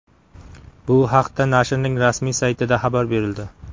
Bu haqda nashrning rasmiy saytida xabar berildi .